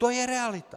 To je realita.